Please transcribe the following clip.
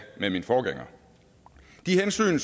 med min forgænger de hensyn